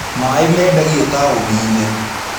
Maaĩ mendagio taũni-inĩ.